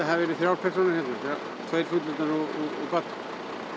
hafi verið þrjár persónur hér inni tveir fullorðnir og barn